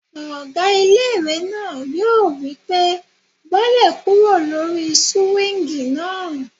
Ọgá ilé-ìwé náà yóò wí pé "bọ́lẹ̀ kúrò lórí súwíngì náà!"